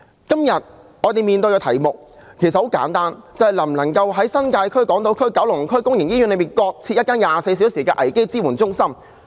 今天在我們面前的題目其實很簡單，便是能否在新界區、港島區和九龍區的公營醫院內，各設一間24小時的危機支援中心？